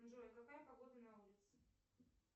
джой какая погода на улице